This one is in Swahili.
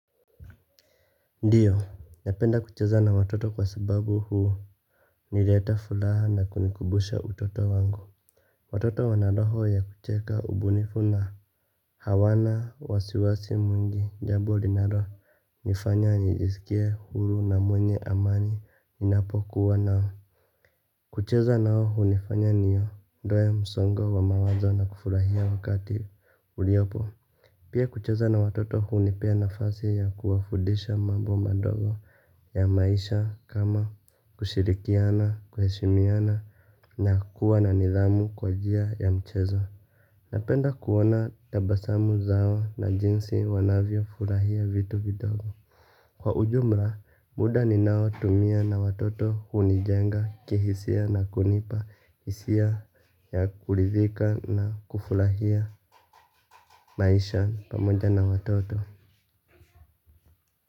Ndiyo, napenda kucheza na watoto kwa sababu huu nileta fulaha na kunikubusha utoto wangu. Watoto wana roho ya kucheka ubunifu na hawana, wasiwasi mwingi, jabo linalo nifanya nijisikie huru na mwenye amani ninapokuwa nao. Kucheza nao hunifanya niondoe msongo wa mawazo na kufurahia wakati uliopo. Pia kucheza na watoto hunipea nafasi ya kuwafudisha mambo madogo ya maisha kama kushirikiana, kuheshimiana na kuwa na nidhamu kwa jia ya mchezo. Napenda kuona tabasamu zao na jinsi wanavyo furahia vitu vidogo. Kwa ujumla, muda ninao tumia na watoto hunijenga kihisia na kunipa hisia ya kulithika na kufurahia maisha pamoja na watoto.